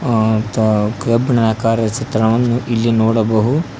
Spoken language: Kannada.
ಅ ಮತ್ ಕಬ್ಬಿಣದ ಕಾರ್ಯ ಚಿತ್ರವನ್ನು ಇಲ್ಲಿ ನೋಡಬಹು--